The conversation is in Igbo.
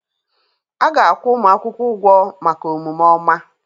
A ga-akwụ ụmụ akwụkwọ ụgwọ maka omume ọma